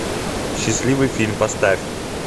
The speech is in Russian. счастливый фильм поставь